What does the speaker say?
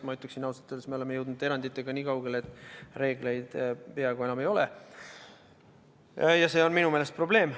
Ma ütleksin, ausalt öeldes, et oleme eranditega jõudnud nii kaugele, et reegleid peaaegu enam ei olegi, ja see on minu meelest probleem.